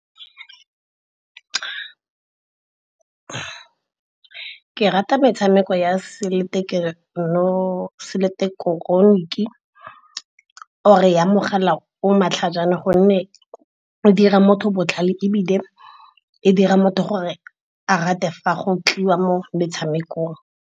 Ke rata metshameko ya or-e ya mogala o matlhajana gonne e dira motho botlhale, ebile e dira motho gore a rate fa go tliwa mo metshamekong.